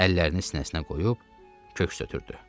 Əllərini sinəsinə qoyub, köks ötrdü.